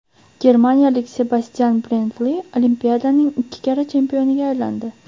Germaniyalik Sebastyan Brendli Olimpiadaning ikki karra chempioniga aylandi.